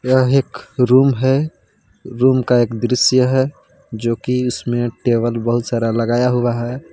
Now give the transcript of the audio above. यह एक रूम है रूम का एक दृश्य है जो कि उसमें टेबल बहुत सारा लगाया हुआ है।